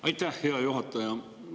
Aitäh, hea juhataja!